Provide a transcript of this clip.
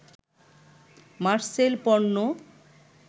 মারসেল পণ্য